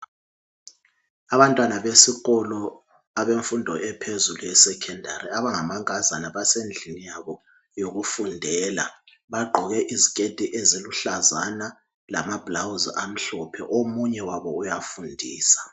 Abantwana besikolo abemfundo ephezulu e"Secondary"abangamankazana basendlini yabo yokufundela bagqoke iziketi eziluhlazana lama"blouse" amhlophe omunye wabo uyafundisa.